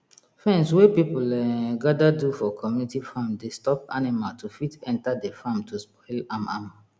fence wey people um gather do for community farm dey stop animal to fit enter de farm to spoil am am